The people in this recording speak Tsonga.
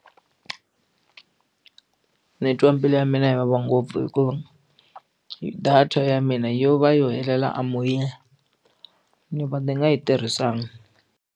Ndzi twa mbilu ya mina yi vava ngopfu hi ku data ya mina yo va yo helela a moya ndzi va ndzi nga yi tirhisanga.